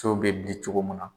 bɛ bin cogo min na.